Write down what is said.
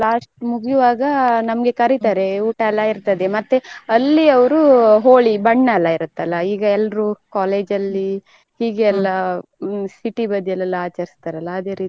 Last ಮುಗಿಯುವಾಗ ನಮ್ಗೆ ಕರಿತಾರೆ ಊಟಯೆಲ್ಲ ಇರ್ತದೆ ಮತ್ತೆ ಅಲ್ಲಿ ಅವರು Holi ಬಣ್ಣಯೆಲ್ಲ ಇರುತ್ತಲ್ಲ ಈಗ ಎಲ್ರೂ college ಅಲ್ಲಿ ಹೀಗೆ ಎಲ್ಲ city ಬದಿಯಲ್ಲಿ ಆಚರಿಸ್ತಾರಲ್ಲ ಅದೇ ರೀತಿ.